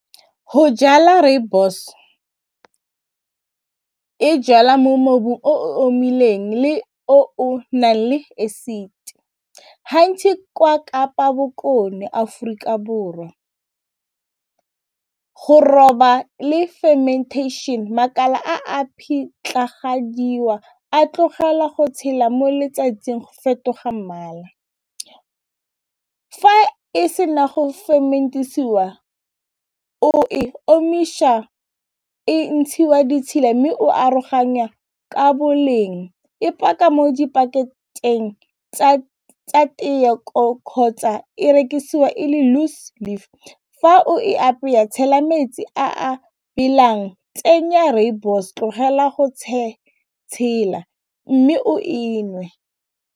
Go jala rooibos e jalwa mo mobu o omileng le o nang le acid kwa Kapa Bokone Aforika Borwa go roba le fermantation makala a a a tlogela go tshela mo letsatsing go fetoga mmala, fa e se na go ferment-isiwa o e omiša e ntshiwa ditshila mme o aroganya ka boleng e paka mo dipaketeng tsa kgotsa e rekisiwa e le loose leaf fa o e apea tshela metsi a belang tsenya rooibos tlogela go tshela mme o e nngwe.